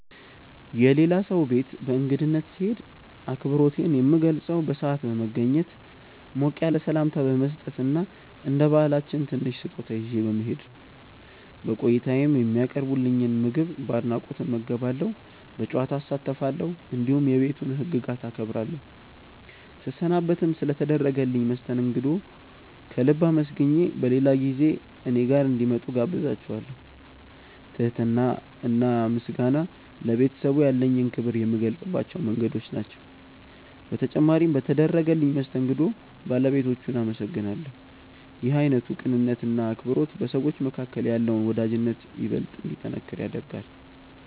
የሌላ ሰው ቤት በእንግድነት ስሄድ አክብሮቴን የምገልጸው በሰዓት በመገኘት፣ ሞቅ ያለ ሰላምታ በመስጠት እና እንደ ባህላችን ትንሽ ስጦታ ይዤ በመሄድ ነው። በቆይታዬም የሚቀርብልኝን ምግብ በአድናቆት እመገባለሁ፣ በጨዋታ እሳተፋለሁ፣ እንዲሁም የቤቱን ህግጋት አከብራለሁ። ስሰናበትም ስለ ተደረገልኝ መስተንግዶ ከልብ አመስግኜ በሌላ ጊዜ እኔ ጋር እንዲመጡ እጋብዛቸዋለው። ትህትና እና ምስጋና ለቤተሰቡ ያለኝን ክብር የምገልጽባቸው መንገዶች ናቸው። በተጨማሪም በተደረገልኝ መስተንግዶ ባለቤቶቹን አመሰግናለሁ። ይህ አይነቱ ቅንነት እና አክብሮት በሰዎች መካከል ያለውን ወዳጅነት ይበልጥ እንዲጠነክር ያደርጋል።